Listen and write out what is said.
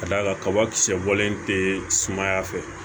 Ka d'a kan kabakisɛ bɔlen tɛ sumaya fɛ